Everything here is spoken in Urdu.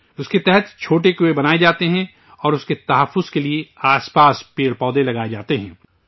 اس کے تحت چھوٹے کنویں بنائے جاتے ہیں اور اس کی حفاظت کے لیے آس پاس پیڑ پودے لگائے جاتے ہیں